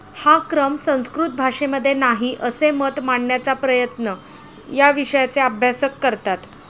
हा क्रम संस्कृत भाषेमध्ये नाही, असे मत मांडण्याचा प्रयत्न या विषयाचे अभ्यासक करतात.